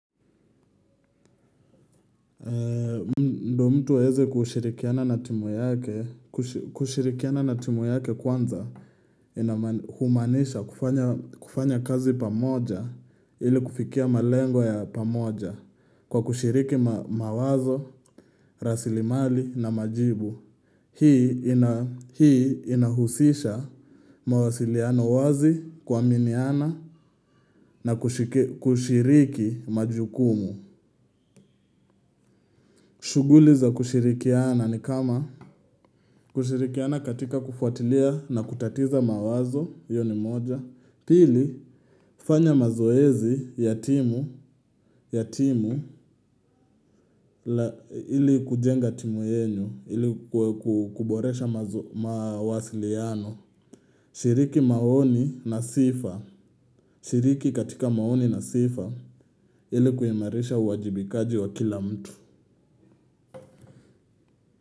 Ndo mtu aweze kushirikiana na timu yake kushirikiana na timu yake kwanza humanisha kufanya kazi pamoja ili kufikia malengo ya pamoja kwa kushiriki mawazo, rasilimali na majibu. Hii inahusisha mawasiliano wazi kuaminiana na kushiriki majukumu. Shuguli za kushirikiana ni kama kushirikiana katika kufuatilia na kutatiza mawazo, hiyo ni moja. Pili, fanya mazoezi ya timu ili kujenga timu yenyu, ili kuboresha mawasiliano. Shiriki maoni na sifa, shiriki katika maoni na sifa, ili kuimarisha uwajibikaji wa kila mtu.